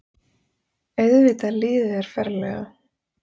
Auðvitað líður þér ferlega.